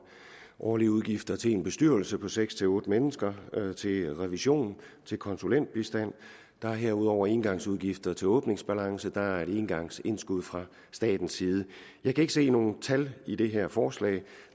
årlige udgifter til en bestyrelse på seks otte mennesker til revision til konsulentbistand der er herudover engangsudgifter til åbningsbalance der er engangsindskud fra statens side jeg kan ikke se nogen tal i det her forslag